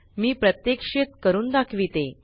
मी प्रत्यक्षित करून दाखविते